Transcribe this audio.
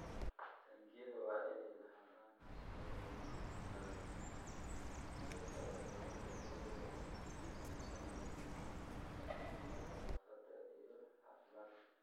Taangiyada waa inay lahaadaan habab looga hortagayo gudbinta cudurrada iyadoo la adeegsanayo hababka nadaafadda iyo caafimaadka.